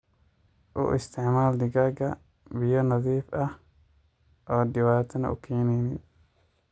U isticmaal digaaga biyo nadiif ah oo dibatana u keneynin.